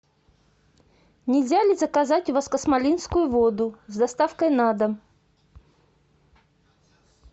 нельзя ли заказать у вас космолинскую воду с доставкой на дом